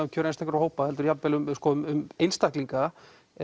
um kjör einstakra hópa heldur jafn vel um um einstaklinga